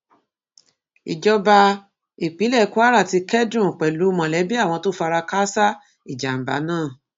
ìjọba ìpínlẹ kwara ti kẹdùn pẹlú mọlẹbí àwọn tó fara káàsà ìjàmbá náà